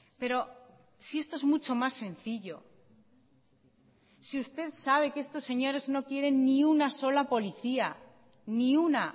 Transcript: pero si esto es mucho más sencillo si usted sabe que estos señores no quieren ni una sola policía ni una